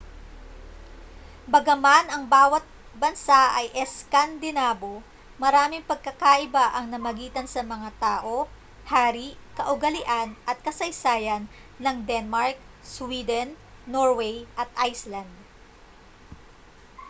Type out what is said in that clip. bagaman ang bawa't bansa ay eskandinabo' maraming pagkakaiba ang namagitan sa mga tao hari kaugalian at kasaysayan ng denmark sweden norway at iceland